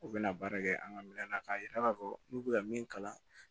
U bɛna baara kɛ an ka minɛn na k'a yira k'a fɔ n'u bɛ ka min kalan